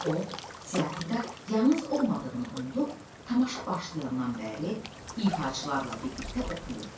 O teatrda yalnız olmadığını unudub, tamaşa başlayandan bəri ifaçılarla birlikdə oxuyurdu.